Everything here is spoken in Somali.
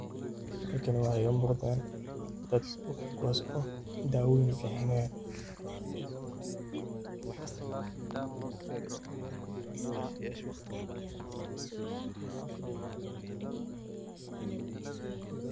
Halkani waxa iga muqata dad kuwas o dawooyin bixinayan.